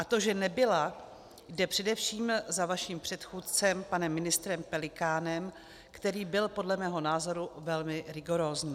A to, že nebyla, jde především za vaším předchůdcem, panem ministrem Pelikánem, který byl podle mého názoru velmi rigorózní.